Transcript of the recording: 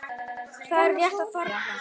Þau eru rétt að þorna!